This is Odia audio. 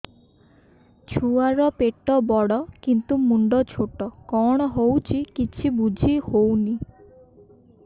ଛୁଆର ପେଟବଡ଼ କିନ୍ତୁ ମୁଣ୍ଡ ଛୋଟ କଣ ହଉଚି କିଛି ଵୁଝିହୋଉନି